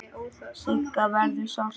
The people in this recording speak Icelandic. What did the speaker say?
Siggu verður sárt saknað.